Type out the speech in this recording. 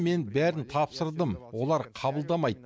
мен бәрін тапсырдым олар қабылдамайды